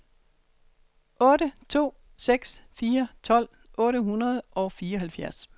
otte to seks fire tolv otte hundrede og fireoghalvfjerds